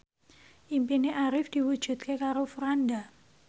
impine Arif diwujudke karo Franda